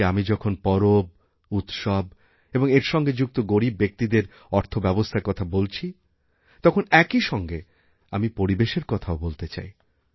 আজকেআমি যখন পরব উৎসব এবং এর সঙ্গে যুক্ত গরীব ব্যক্তিদের অর্থব্যবস্থার কথা বলছিতখন একই সঙ্গে আমি পরিবেশের কথাও বলতে চাই